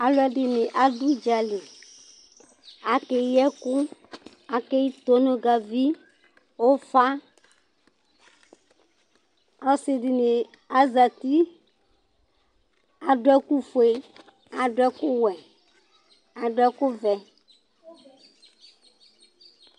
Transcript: Alʋɛdìní adu ʋdzali Akeyi tonʋgavi, ʋfa Ɔsi dìní azɛti Adu ɛku fʋe Adu ɛku wɛ Adu ɛku vɛ